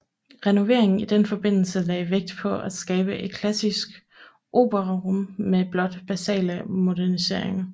Renoveringen i den forbindelse lagde vægt på at skabe et klassisk operarum med blot basale moderniseringer